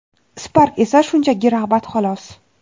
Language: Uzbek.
Spark esa shunchaki rag‘bat xolos!.